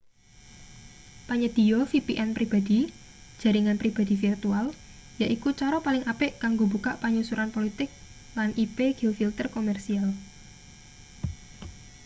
panyedhiya vpn pribadi jaringan pribadi virtual yaiku cara paling apik kanggo mbukak panyensuran politik lan ip-geofilter komersial